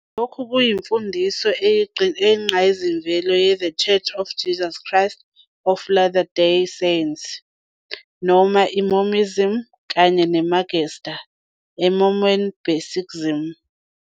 Lokhu kuyimfundiso eyingqayizivele yeThe Church of Jesus Christ of Latter-day Saints noma i- Mormonism, kanye namagatsha e- Mormon basicism.